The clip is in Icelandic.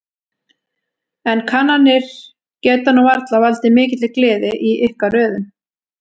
En kannanir geta nú varla valdið mikilli gleði í ykkar röðum?